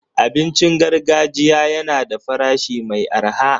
Abincin gargajiya yana da farashi mai arha.